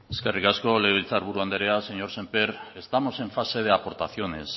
eskerrik asko legebiltzar buru andrea señor sémper estamos en fase de aportaciones